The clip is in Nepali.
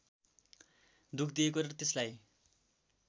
दुःख दिएको र त्यसलाई